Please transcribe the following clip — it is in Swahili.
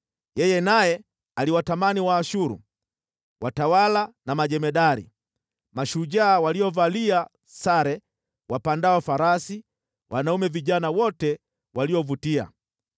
Yeye naye aliwatamani Waashuru, watawala na majemadari, mashujaa waliovalia sare, wapandao farasi, wanaume vijana wote waliovutia.